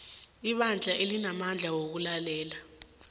ibandla alinamandla wokulalela